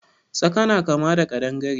Tsaka na kama da ƙadangare.